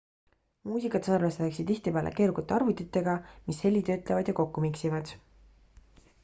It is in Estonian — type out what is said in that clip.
muusikat salvestatakse tihtipeale keerukate arvutitega mis heli töötlevad ja kokku miksivad